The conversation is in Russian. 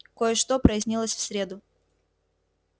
кое-что прояснилось в среду